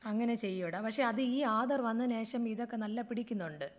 അങ്ങനെ ചെയുടാ. പക്ഷേ അത് ഈ ആധാർ വന്നതിന് ശേഷം ഇതൊക്കെ നല്ലോണം പിടിക്കുന്നുണ്ട്.